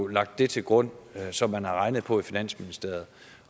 lagt det til grund som man har regnet på i finansministeriet